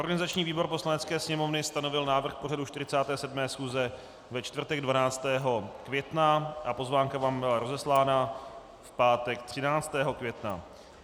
Organizační výbor Poslanecké sněmovny stanovil návrh pořadu 47. schůze ve čtvrtek 12. května a pozvánka vám byla rozeslána v pátek 13. května.